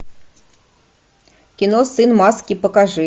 кино сын маски покажи